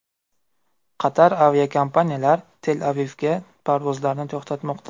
Qator aviakompaniyalar Tel-Avivga parvozlarni to‘xtatmoqda.